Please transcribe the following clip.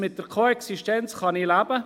Mit der Koexistenz kann ich leben.